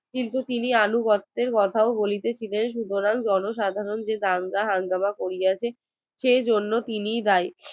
কিন্তু তিনি আনুগত্যের সোজা বলিতেছিলেন সুতরাং জনসাধারণ যে দাঙ্গা হাঙ্গামা করেছে সে জন্য তিনি